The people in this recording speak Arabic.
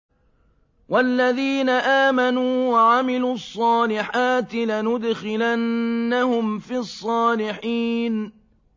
وَالَّذِينَ آمَنُوا وَعَمِلُوا الصَّالِحَاتِ لَنُدْخِلَنَّهُمْ فِي الصَّالِحِينَ